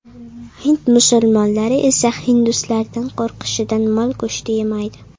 Hind musulmonlari esa hinduslardan qo‘rqishidan mol go‘shti yemaydi.